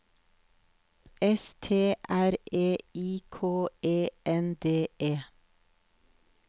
S T R E I K E N D E